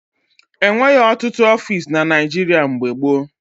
E nweghị ọtụtụ ọfiisi na Naịjịrịa mgbe gboo.